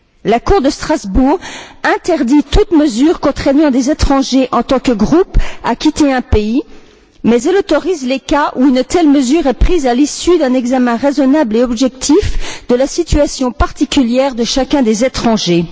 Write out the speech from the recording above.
La Cour de Strasbourg interdit toute mesure contraignant des étrangers en tant que groupes à quitter un pays, mais elle autorise les cas où une telle mesure est prise à l'issue d'un examen raisonnable et objectif de la situation particulière de chacun des étrangers.